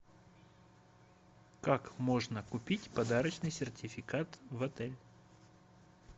как можно купить подарочный сертификат в отель